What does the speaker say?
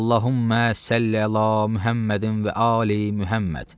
Allahummə Səlli əla Muhəmmədin və ali Muhəmməd.